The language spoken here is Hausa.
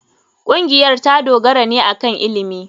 Ƙungiyar ta dogara ne akan ilimi.